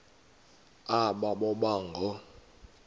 aba boba ngoo